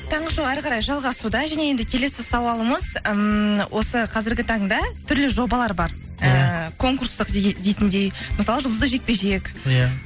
таңғы шоу әрі қарай жалғасуда және енді келесі сауалымыз ммм осы қазіргі таңда түрлі жобалар бар ііі конкурстық дейтіндей мысалы жұлдызды жекпе жек иә